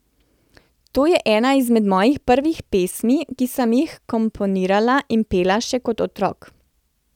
To je ena izmed mojih prvih pesmi, ki sem jih komponirala in pela še kot otrok.